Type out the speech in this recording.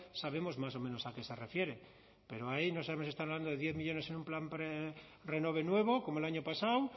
sabemos más o menos a qué se refiere pero ahí no sabemos si están hablando de diez millónes para un plan renove nuevo como el año pasado